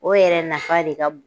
O yɛrɛ nafa de ka b